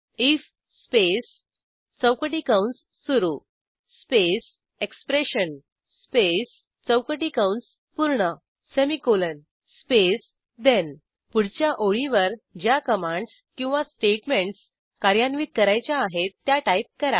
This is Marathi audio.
आयएफ स्पेस चौकटी कंस सुरू स्पेस एक्सप्रेशन स्पेस चौकटी कंस पूर्ण सेमिकोलॉन स्पेस ठेण पुढच्या ओळीवर ज्या कमांडस किंवा स्टेटमेंटस कार्यान्वित करायच्या आहेत त्या टाईप करा